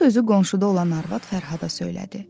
Bu sözü qonşuda olan arvad Fərhada söylədi.